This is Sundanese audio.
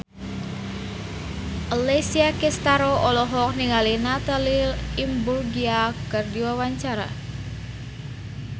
Alessia Cestaro olohok ningali Natalie Imbruglia keur diwawancara